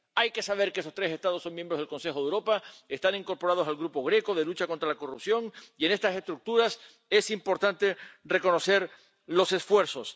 Hay que saber que estos tres Estados son miembros del Consejo de Europa, que están incorporados al Grupo Greco de lucha contra la corrupción, y en estas estructuras es importante reconocer los esfuerzos.